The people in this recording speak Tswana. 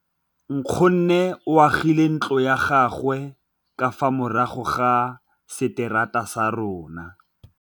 Nkgonne o agile ntlo ya gagwe ka fa morago ga seterata sa rona.